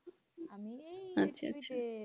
আচ্ছা আচ্ছা